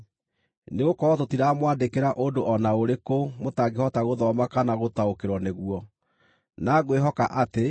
Nĩgũkorwo tũtiramwandĩkĩra ũndũ o na ũrĩkũ mũtangĩhota gũthoma kana gũtaũkĩrwo nĩguo. Na ngwĩhoka atĩ,